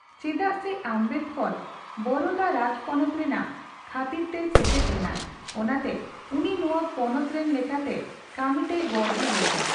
ᱪᱮᱫᱟᱜᱥᱮ ᱟᱢᱵᱮᱫᱠᱚᱨ ᱵᱚᱨᱳᱫᱟ ᱨᱟᱡᱯᱚᱱᱚᱛ ᱨᱮᱱᱟᱜ ᱠᱷᱟᱹᱛᱤᱨᱛᱮᱭ ᱥᱮᱪᱮᱫ ᱞᱮᱱᱟᱭ, ᱚᱱᱟᱛᱮ ᱩᱱᱤ ᱱᱚᱣᱟ ᱯᱚᱱᱚᱛ ᱨᱮᱱ ᱞᱮᱠᱟᱛᱮ ᱠᱟᱢᱤᱛᱮᱭ ᱵᱚᱲᱦᱮ ᱞᱮᱱᱟᱭ ᱾